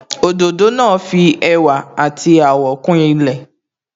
Òdòdó náà fi ẹwà àti àwọ̀ kún ilẹ̀